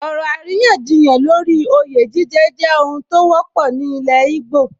Ọ̀rọ̀ àríyànjiyàn lórí oyè jíjẹ jẹ́ ohun tó wọ́pọ̀ ní ilẹ̀ íbò